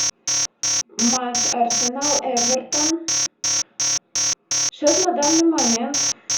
матч арсенал эвертон счет на данный момент